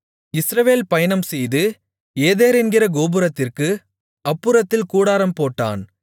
இஸ்ரவேல் பயணம்செய்து ஏதேர் என்கிற கோபுரத்திற்கு அப்புறத்தில் கூடாரம் போட்டான்